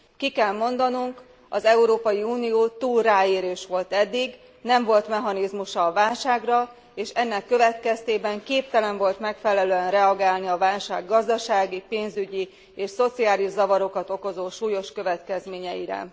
Ki kell mondanunk az Európai Unió túl ráérős volt eddig, nem volt mechanizmusa a válságra, és ennek következtében képtelen volt megfelelően reagálni a válság gazdasági, pénzügyi és szociális zavarokat okozó súlyos következményeire.